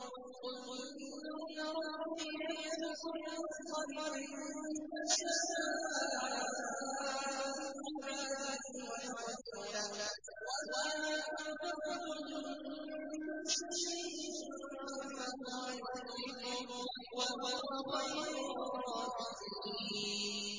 قُلْ إِنَّ رَبِّي يَبْسُطُ الرِّزْقَ لِمَن يَشَاءُ مِنْ عِبَادِهِ وَيَقْدِرُ لَهُ ۚ وَمَا أَنفَقْتُم مِّن شَيْءٍ فَهُوَ يُخْلِفُهُ ۖ وَهُوَ خَيْرُ الرَّازِقِينَ